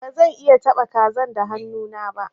Ba zan iya taba kazan da hannu na ba.